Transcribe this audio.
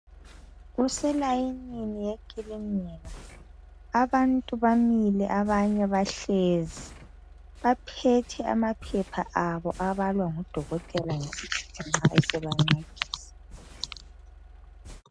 Kuselayinini yekilinika abantu bamile abanye bahlezi baphethe amaphepha abo abalwa ngudokotela abesebancedisa.